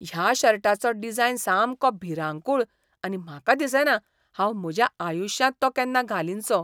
ह्या शर्टाचो डिझायन सामको भिरांकूळ आनी म्हाका दिसना हांव म्हज्याआयुश्यांत तो केन्ना घालीनसो.